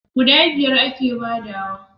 guda biyar a ke badawa